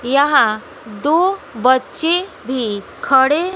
यहां दो बच्चे भी खड़े--